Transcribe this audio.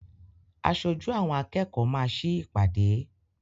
Aṣojú àwọn akẹ́kọ̀ọ́ máa sí ìpàdé.